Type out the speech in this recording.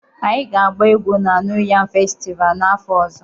Anyị ga-agba egwu na New Yam Festival n'afọ ọzọ